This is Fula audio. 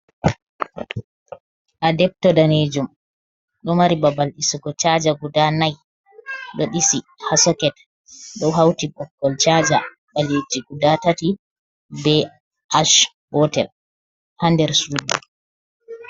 Adebto daneejum. Ɗo mari babal ɗisugo chaja guda nai. Ɗo ɗisi haa soket, ɗo hauti boggol chaja ɓaleeji guda tati bee ash gotel haa nder suudu.